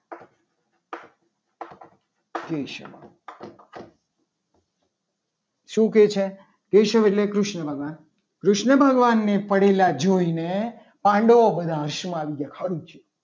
કેશવ શું કહે છે. કે કેશવ એટલે કૃષ્ણ ભગવાન કૃષ્ણ ભગવાનને પડેલા જોઈને પાંડવો બધા હસવાનું આવી ગયા. કે સારું થયું.